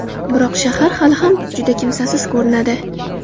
Biroq shahar hali ham juda kimsasiz ko‘rinadi.